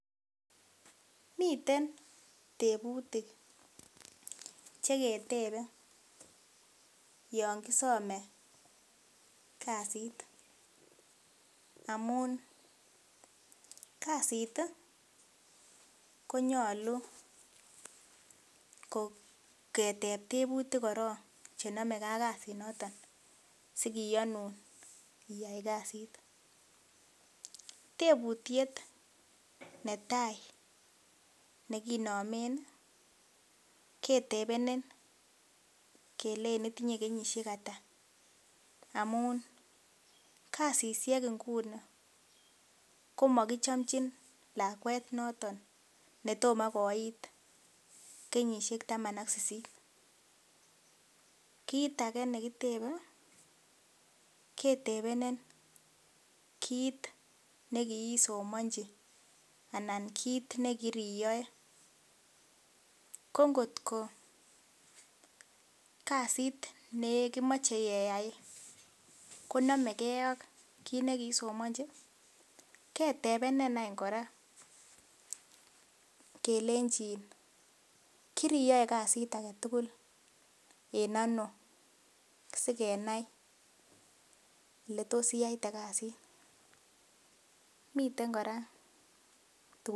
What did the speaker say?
Miten tebutik cheketebe yon ki some kasit amun kasit ii konyolu keteb tebutik korong chenomekee ak kasinoton sikiyonun iyai kasit tebutiet netaa nekinomen kelechin itinye kenyisiek ata, amun kasisiek inguni komokichomnjin lakwet inguni netomo koiit kenyisiek taman ak sisit, kit age nekitebee ketebenen kit nekiisomanji anan kit nekiriyoe kongo't koo kasit nee kimoche keyai konomegee akit nekiisomanji ,ketebenen any kora kelechin kiriyoe kasit agetugul enono sikenai oletos iyaite kasit miten kora tuguk .